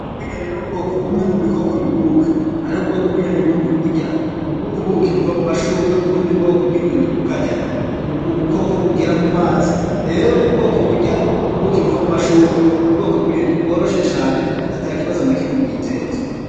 Ubwoko bw'inyoni n'ubwoko bumwe mu bikoko biguruka, hariho ubwoko bw'inyoni bumwe burya ubuki buva mu mashurwe, ubundi bwoko bw'inyoni bukarya ubukoko bugira mu mazi, rero ubwoko burya ubuki buva mu mashurwe n'ubwoko bw'inyoni bworoshe cane atakibazo na kimwe bwiteza.